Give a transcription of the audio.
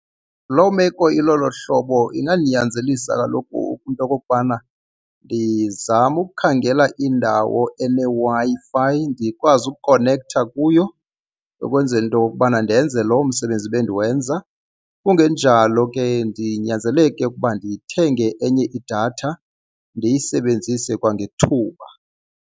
Loo meko ilolo hlobo ingandinyanzelisa kaloku into okokubana ndizame ukukhangela indawo eneWi-Fi ndikwazi ukukhonektha kuyo ukwenzela into kuba yokubana ndenze loo msebenzi bendiwenza. Kungenjalo ke ndinyanzeleke ukuba ndithenge enye idatha ndiyisebenzise kwangethuba.